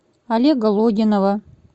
олега логинова